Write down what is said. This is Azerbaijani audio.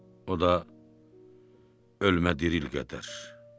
O da ölümlə diril qədər.